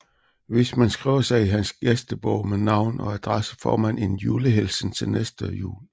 Hvis man skriver sig i hans gæstebog med navn og adresse får man en julehilsen til næste jul